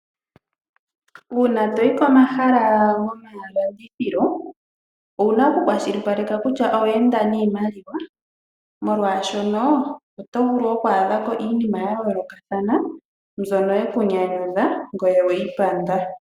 Uuna toyi komahala gomalandithilo owuna okukwashilipaleka kutya owa enda niimaliwa, molwaashoka oto vulu oku adha ko iinima yayolokathana mbyono yekunyanyudha ngoye oweyi panda.